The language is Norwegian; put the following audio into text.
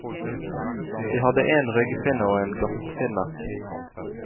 De hadde en ryggfinne og en gattfinne.